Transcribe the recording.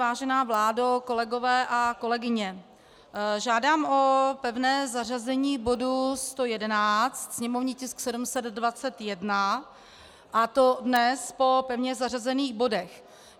Vážená vládo, kolegové a kolegyně, žádám o pevné zařazení bodu 111, sněmovní tisk 721, a to dnes po pevně zařazených bodech.